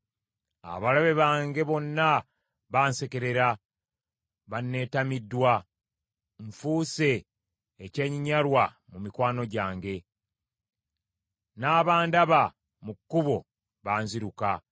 Abalabe bange bonna bansekerera, banneetamiddwa. Nfuuse ekyenyinyalwa mu mikwano gyange, n’abandaba mu kkubo banziruka.